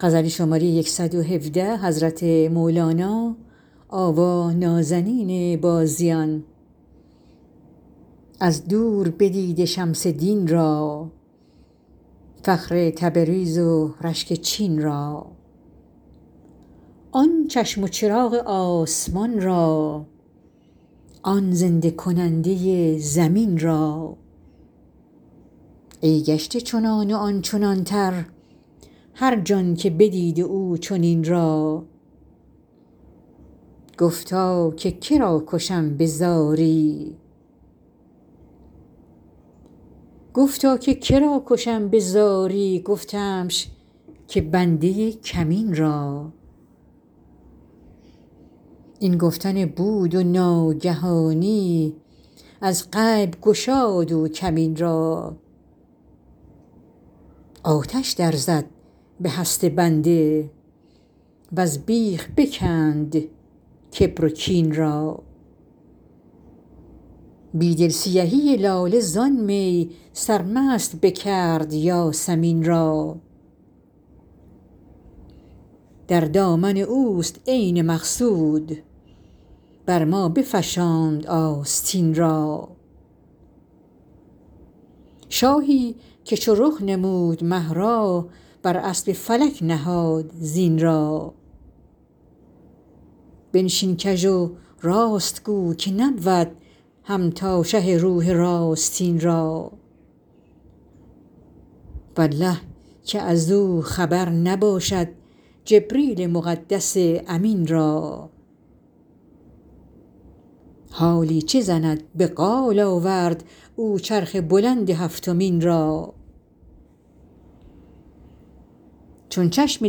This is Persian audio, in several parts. از دور بدیده شمس دین را فخر تبریز و رشک چین را آن چشم و چراغ آسمان را آن زنده کننده زمین را ای گشته چنان و آن چنانتر هر جان که بدیده او چنین را گفتا که که را کشم به زاری گفتمش که بنده کمین را این گفتن بود و ناگهانی از غیب گشاد او کمین را آتش درزد به هست بنده وز بیخ بکند کبر و کین را بی دل سیهی لاله زان می سرمست بکرد یاسمین را در دامن اوست عین مقصود بر ما بفشاند آستین را شاهی که چو رخ نمود مه را بر اسب فلک نهاد زین را بنشین کژ و راست گو که نبود همتا شه روح راستین را والله که از او خبر نباشد جبریل مقدس امین را حالی چه زند به قال آورد او چرخ بلند هفتمین را چون چشم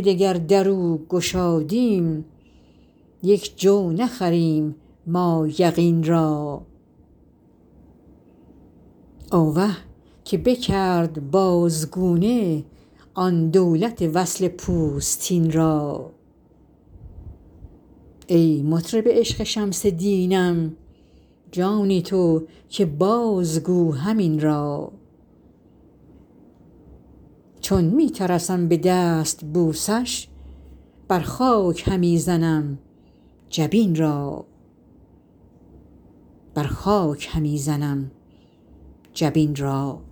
دگر در او گشادیم یک جو نخریم ما یقین را آوه که بکرد بازگونه آن دولت وصل پوستین را ای مطرب عشق شمس دینم جان تو که بازگو همین را چون می نرسم به دستبوسش بر خاک همی زنم جبین را